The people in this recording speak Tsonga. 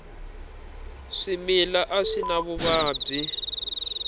swimila a swi na vuvabyi